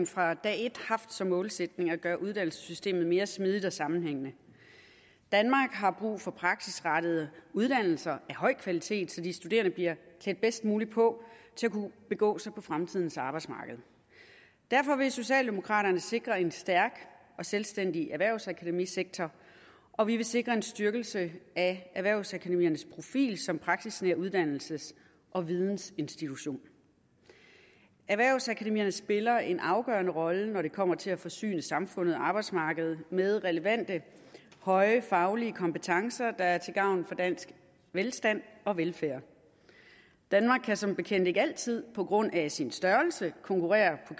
fra dag et haft som målsætning at gøre uddannelsessystemet mere smidigt og sammenhængende danmark har brug for praksisrettede uddannelser af høj kvalitet så de studerende bliver klædt bedst muligt på til at kunne begå sig på fremtidens arbejdsmarked derfor vil socialdemokraterne sikre en stærk og selvstændig erhvervsakademisektor og vi vil sikre en styrkelse af erhvervsakademiernes profil som praksisnære uddannelses og vidensinstitutioner erhvervsakademierne spiller en afgørende rolle når det kommer til at forsyne samfundet og arbejdsmarkedet med relevante høje faglige kompetencer der er til gavn for dansk velstand og velfærd danmark kan som bekendt ikke altid på grund af sin størrelse konkurrere på